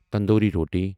تندوری روٹی